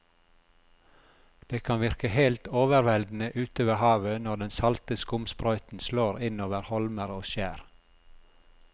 Det kan virke helt overveldende ute ved havet når den salte skumsprøyten slår innover holmer og skjær.